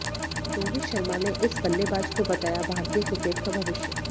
रोहित शर्मा ने इस बल्लेबाज को बताया भारतीय क्रिकेट का भविष्य